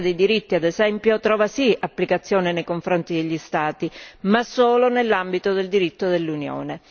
La Carta dei diritti, ad esempio, trova sì applicazione nei confronti degli Stati, ma solo nell'ambito del diritto dell'Unione.